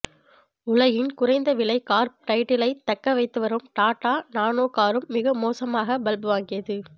உலகின் குறைந்த விலை கார் டைட்டிலை தக்க வைத்து வரும் டாடா நானோ காரும் மிக மோசமாக பல்ப் வாங்கியது